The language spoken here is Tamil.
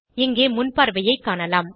இங்கே முன்பார்வையைக் காணலாம்